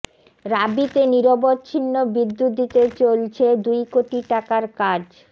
রাবিতে নিরবচ্ছিন্ন বিদ্যুৎ দিতে চলছে দুই কোটি টাকার কাজ